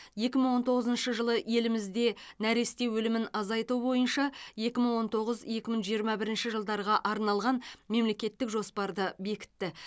екі мың он тоғызыншы жылы елімізде нәресте өлімін азайту бойынша екі мың он тоғыз екі мың жиырма бірінші жылдарға арналған мемлекеттік жоспарды бекітті